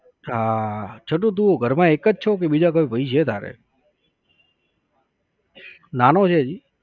હા છોટુ તું ઘરમાં એક જ છો કે બીજા કોઈ ભાઈ છે તારે? નાનો છે હજી?